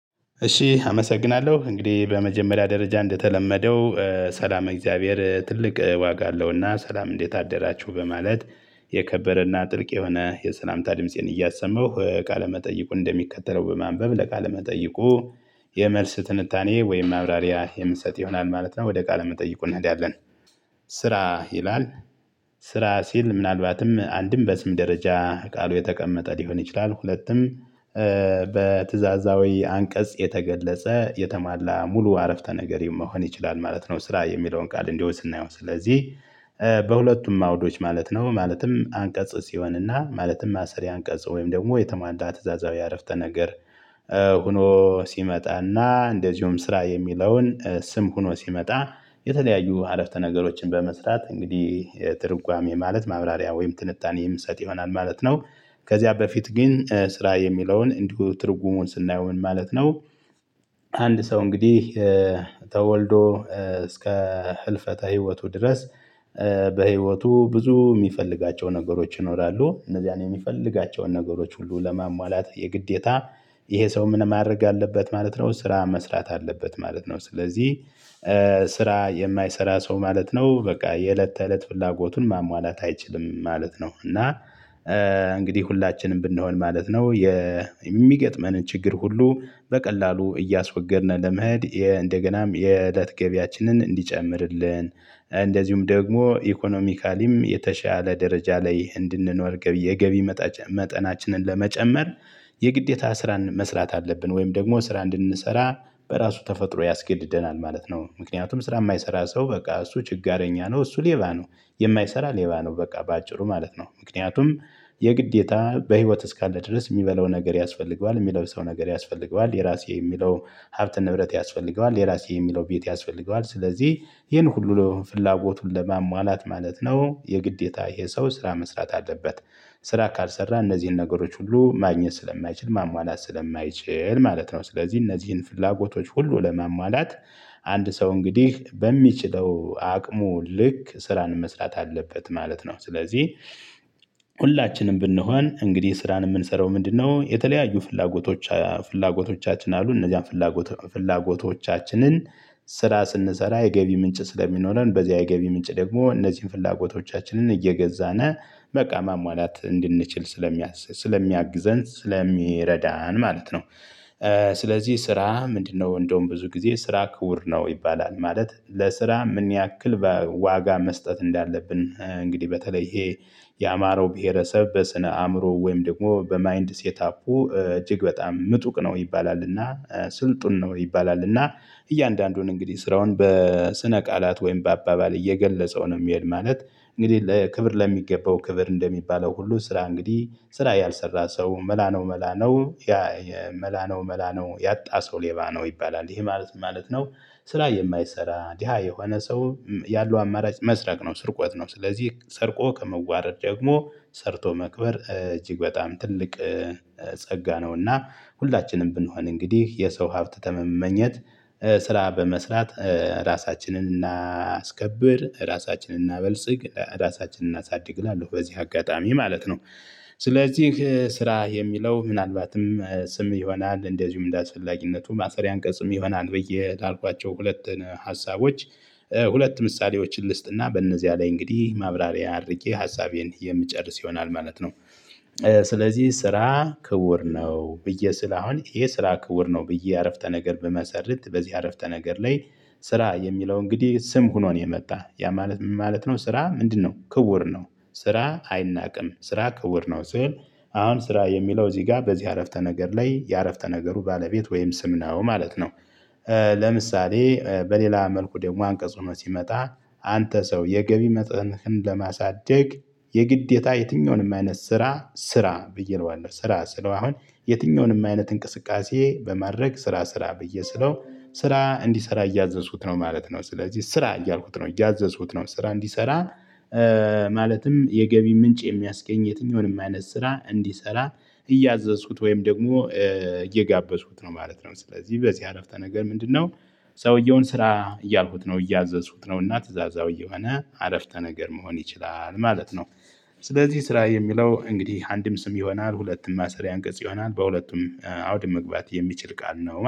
እሺ አመሰግናለሁ እንግዲህ በመጀመሪያ ደረጃ እንደተለመደው ሰላም እግዚአብሔር ትልቅ ዋጋ አለውና ሰላም እንዴት አደራችሁ በማለት የከበረና ጥልቅ የሆነ የሰላምታ ድምፄን እያሰማሁ ቃለመጠይቁን እንደሚከተለው በማንበብ ለቃለ መጠይቁ። የመልስ ትንታኔ ወይም ማብራሪያ የምንሰጥ ይሆናል ማለት ነው ወደ ቃል መጠይቁ እንሄዳለን። ስራ ይላል። ስራ ሲል ምናልባትም አንድም በስም ደረጃ ቃሉ የተቀመጠ ሊሆን ይችላል ሁለትም። በትዕዛዛዊ አንቀጽ የተገለጸ የተሟላ ሙሉ አረፍተ ነገር መሆን ይችላል ማለት ነው። ስራ የሚለውን ቃል እንዲሁ ስናየው ስለዚህ አውዶች ማለት ነው። ማለትም አንቀጽ ሲሆንና ማለትም ማሰሪያ አንቀጽ ወይም ደግሞ የተሟላ ትእዛዛዊ አረፍተ ነገር። ሆኖ ሲመጣና እንደዚሁም ስራ የሚለውን ስም ሆኖ ሲመጣ የተለያዩ አረፍተ ነገሮችን በመስራት እንግዲህ ትርጓሜ ማለት ማብራሪያ ወይም ትንታኔ የምሰጥ ይሆናል ማለት ነው። ከዚያ በፊት ግን ስራ የሚለውን እንዲሁ ትርጉሙን ስናየው ምን ማለት ነው? ሰው እንግዲህ ተወልዶ እስከ ህልፈተ ህይወቱ ድረስ። በህይወቱ ብዙ የሚፈልጋቸው ነገሮች ይኖራሉ እነዚህን የሚፈልጋቸውን ነገሮች ሁሉ ለማሟላት የግዴታ። ይሄ ሰው ምን ማድረግ አለበት ማለት ነው ስራ መስራት አለበት ማለት ነው። ስለዚህ ስራ የማይሰራ ሰው ማለት ነው በቃ የእለት ተእለት ፍላጎቱን ማሟላት አይችልም ማለት ነው። እና እንግዲህ ሁላችንም ብንሆን ማለት ነው። የሚገጥመንን ችግር ሁሉ በቀላሉ እያስወገድን ለመሄድ እንደገናም የእለት ገቢያችንን እንዲጨምርልን እንደዚሁም ደግሞ ኢኮኖሚካሊም የተሻለ ደረጃ ላይ እንድንኖር የገቢ መጠናችንን ለመጨመር የግዴታ ስራን መስራት አለብን ወይም ደግሞ ስራ እንድንሰራ በራሱ ተፈጥሮ ያስገድደናል ማለት ነው። ምክንያቱም ስራ የማይሰራ ሰው በቃ እሱ ችጋረኛ ነው እሱ ሌባ ነው። የማይሰራ ሌባ ነው በቃ በአጭሩ ማለት ነው። ምክንያቱም የግዴታ በህይወት እስካለ ድረስ ሚበላው ነገር ያስፈልገዋል የሚለብሰው ነገር ያስፈልገዋል የእራሴ የሚለው ሀብት ንብረት ያስፈልገዋል የእራሴ የሚለው ቤት ያስፈልገዋል ስለዚህ ይህን ሁሉ ለፍላጎቱን ለማሟላት ማለት ነው የግዴታ ይህ ሰው ስራ መስራት አለበት። ስራ ካልሰራ እነዚህን ነገሮች ሁሉ ማግኘት ስለማይችል ማሟላት ስለማይችል ማለት ነው። ስለዚህ እነዚህን ፍላጎቶች ሁሉ ለማሟላት አንድ ሰው እንግዲህ በሚችለው አቅሙ ልክ ስራን መስራት አለበት ማለት ነው። ስለዚህ ሁላችንም ብንሆን እንግዲህ ስራን የምንሰራው ምንድነው? የተለያዩ ፍላጎቶቻችን አሉ እነዚያን ፍላጎት ፍላጎቶቻችንን ስራ ስንሰራ የገቢ ምንጭ ስለሚኖረን በዚያ የገቢ ምንጭ ደግሞ እነዚህን ፍላጎቶቻችንን እየገዛን በቃ ማሟላት እንድንችል ስለሚያግዘን ስለሚረዳን ማለት ነው። ስለዚህ ስራ ምንድን ነው እንደውም ብዙ ጊዜ ስራ ክቡር ነው ይባላል። ማለት ለስራ ምን ያክል ዋጋ መስጠት እንዳለብን እንግዲህ በተለይ ይሄ የአማራው ብሄረሰብ በስነ አእምሮ ወይም ደግሞ በማይንድ ሴት አፑ እጅግ በጣም ምጡቅ ነው ይባላልና። ስልጡን ነው ይባላል እና እያንዳንዱን እንግዲህ ስራውን በስነ ቃላት ወይም በአባባል እየገለጸው ነው የሚሄድ ማለት። እንግዲህ ለክብር ለሚገባው ክብር እንደሚባለው ሁሉ ስራ እንግዲህ ስራ ያልሰራ ሰው መላ ነው መላ ነው። ያ መላ ነው መላ ነው ያጣ ሰው ሌባ ነው ይባላል ይሄ ማለት ማለት ነው። ስራ የማይሰራ ድሃ የሆነ ሰው ያለው አማራጭ መስረቅ ነው። ስርቆት ነው ስለዚህ ሰርቆ ከመዋረድ ደግሞ ሰርቶ መክበር እጅግ በጣም ትልቅ ጸጋ ነውና። ሁላችንም ብንሆን እንግዲህ የሰው ሀብት ከመመኘት ስራ በመስራት ራሳችንን እናስከብር ራሳችንን እናበልጽግ ራሳችንን እናሳድግ እላለሁ በዚህ አጋጣሚ ማለት ነው። ስለዚህ ስራ የሚለው ምናልባትም ስም ይሆናል እንደዚሁም እንደተላለፊነቱ ማሰሪያ አንቀጽም ይሆናል ብዬ ካልኳቸው ሁለት ሀሳቦች ሁለት ምሳሌዎችን ልስጥና በእነዚያ ላይ እንግዲህ ማብራሪያ አድርጌ ሀሳቤን የምጨርስ ይሆናል ማለት ነው። ስለዚህ ስራ ክቡር ነው ብዬ ስል አሁን ይሄ ስራ ክቡር ነው ብዬ አረፍተ ነገር ብመሰርት በዚህ አረፍተ ነገር ላይ። ስራ የሚለው እንግዲህ ስም ሆኖ ነው የመጣ ያ ማለት ምን ማለት ነው? ስራ ምንድነው ክቡር ነው። ስራ አይናቅም ስራ ክቡር ነው ስል። አሁን ስራ የሚለው እዚህ ጋር በዚህ አረፍተ ነገር ላይ የአረፍተ ነገሩ ባለቤት ወይም ስም ነው ማለት ነው። ለምሳሌ በሌላ መልኩ ደግሞ አንቀጽ ሆኖ ሲመጣ። አንተ ሰው የገቢ መጠንህን ለማሳደግ የግዴታ የትኛውንም አይነት ስራ ስራ ብዬ ነው ዋና ስራ ስለው አሁን የትኛውንም አይነት እንቅስቃሴ በማድረግ ስራ ስራ ብዬ ስለው ስራ እንዲሰራ እያዘዝኩት ነው ማለት ነው። ስለዚህ ስራ እያልኩት ነው እያዘዙት ነው ስራ እንዲሰራ። የገቢ ምንጭ የሚያስገኝ የትኛውንም አይነት ስራ እንዲሰራ እያዘዝኩት ወይም ደግሞ እየጋበዝኩት ነው ማለት ነው። ስለዚህ በዚህ አረፍተ ነገር ምንድን ነው? ሰውየውን ስራ እያልኩት ነው እያዘዝኩት ነው እና ትእዛዛዊ የሆነ አረፍተ ነገር መሆን ይችላል ማለት ነው። ስለዚህ ስራ የሚለው እንግዲህ አንድም ስም ይሆናል ሁለትም ማሰሪያ አንገጽ ይሆናል በሁለቱም አውድ መግባት የሚችል ቃል ነው